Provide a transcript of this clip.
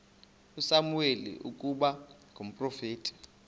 usamuweli ukuba ngumprofeti